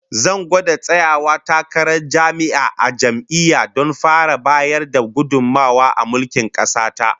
Zan gwada tsayawa takarar jami'i a jam'iyya don fara bayar da gudummawa a mulkin kasa ta